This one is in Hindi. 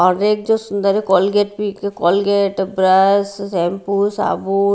और एक जो सूंदर है कोलगेट भी कोलगेट ब्रश शैम्पू साबुन--